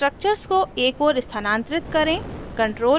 structures को एक ओर स्थनांतरित करें